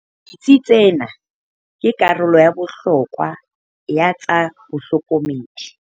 Ditsi tsena ke karolo ya bohlokwa ya tsa bohlokomedi.